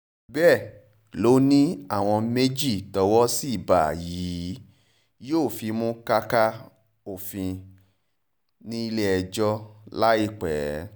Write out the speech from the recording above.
bẹ́ẹ̀ ló ní àwọn méjì tówó sì bá yìí yóò fimú káká òfin nílẹ̀-ẹjọ́ láìpẹ́